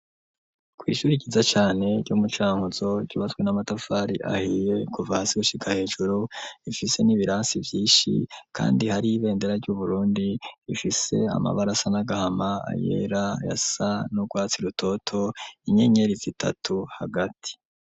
kw'ishuri ryiza cane, ryo mu Cankuzo, ryubatswe n'amatafari ahiye, kuva hasi gushika hejuru, rifise n'ibirasi vyinshi kandi hari ibendera ry'Uburundi, rifise amabara asa n'agahama, ayera, ayasa n'urwatsi rutoto, inyenyeri zitatu hagati.